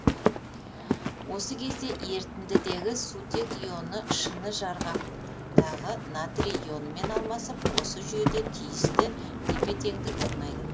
осы кезде ерітіндідегі сутек ионы шыны жарғақтағы натрий ионымен алмасып осы жүйеде тиісті тепе теңдік орнайды